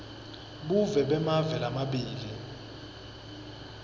buve bemave lamabili